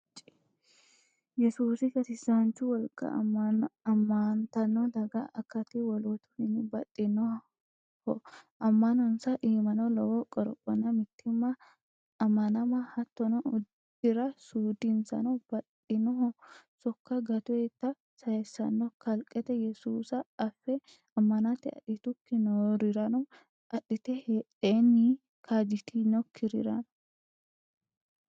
Yesuusinni gatisanchu wolqa ammantano daga akati wolootuwinni baxxinoho ama'nonsa iimano lowo qorophonna mittimma amanama hattono uddira suudinsano baxxanoho sokko gatotta saysanno kalqete yesuusa affe amante adhitukki noorirano adhite heedhenni kaajjitinokkirira.